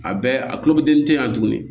A bɛɛ a kulo bi den te yan tuguni